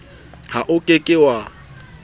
ha o ke ke wa